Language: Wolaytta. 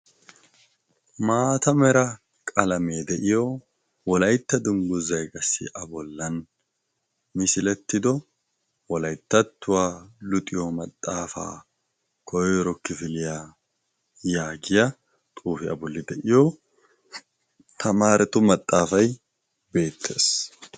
maata mera qalamee de'iyo wolaytta dungguza qassi a bollan misilettido wolayttattuwaa luxiyo maxaafaa koyro kifiliyaa yaagiya xuufiyaa bolli de'iyo tamaaratu maxaafay beettees